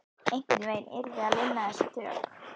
Einhvern veginn yrði að lina þessi tök